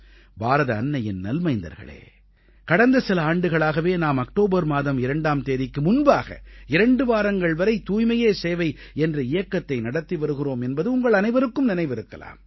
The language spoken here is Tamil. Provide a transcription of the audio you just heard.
பாரத அன்னையின் நல்மைந்தர்களே கடந்த சில ஆண்டுகளாகவே நாம் அக்டோபர் மாதம் 2ஆம் தேதிக்கு முன்பாக 2 வாரங்கள் வரை தூய்மையே சேவை என்ற இயக்கத்தை நடத்தி வருகிறோம் என்பது உங்கள் அனைவருக்கும் நினைவிருக்கலாம்